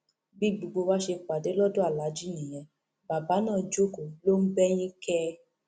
bí gbogbo wa ṣe pàdé lọdọ aláàjì nìyẹn bàbá náà jókòó ló ń bẹyìn kẹẹ